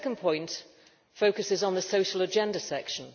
My second point focuses on the social agenda section.